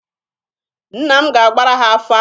Nna m ga-agbara ha afa.